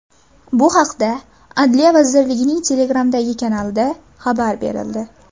Bu haqda Adliya vazirligining Telegram’dagi kanalida xabar berildi .